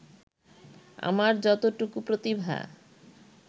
আমার যতটুকু প্রতিভা